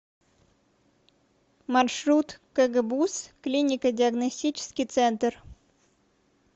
маршрут кгбуз клинико диагностический центр